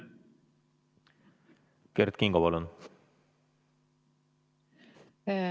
Kert Kingo, palun!